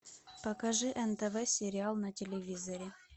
покажи нтв сериал на телевизоре